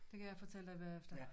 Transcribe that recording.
Det kan jeg fortælle dig bagefter